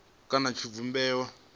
kha tshivhumbeo tsha ovala dzo